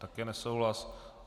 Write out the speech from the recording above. Také nesouhlas.